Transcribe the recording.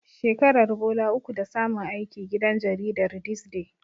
Shekaran bola uku da samun aiki gidan jaridar This Day.